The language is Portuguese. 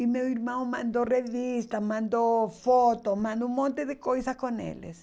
E meu irmão mandou revistas, mandou fotos, mandou um monte de coisas com eles.